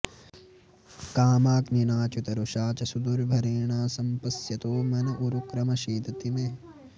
कामाग्निनाच्युत रुषा च सुदुर्भरेण सम्पश्यतो मन उरुक्रम सीदते मे